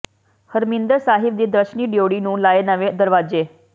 ਹਰਿਮੰਦਰ ਸਾਹਿਬ ਦੀ ਦਰਸ਼ਨੀ ਡਿਓਢੀ ਨੂੰ ਲਾਏ ਨਵੇਂ ਦਰਵਾਜ਼ੇ